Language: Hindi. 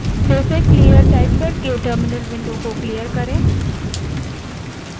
फिर से terminal को clear करने के लिए clear type करें